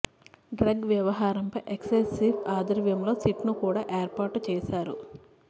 drugs వ్యవహారంపై excise chief ఆధ్వర్యంలో SIT ను కూడా ఏర్పాటు చేశారు